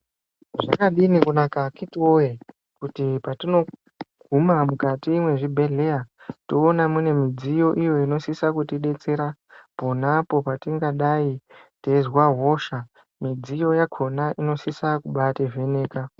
Zvakadini kunaka akiti woyee kuti patinoguma mukati mwezvibhedhleya toona tine midziyo iyoo inosisa kutibetsera iponapo patingadayi teyizwa hosha midzinde yakona inodai inosisa kumbaiti vheneka.